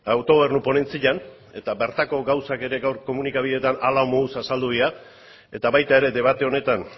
autogobernu ponentzian egon ginen eta bertako gauzak ere gaur komunikabideetan hala moduz azaldu dira eta baita ere debate honetan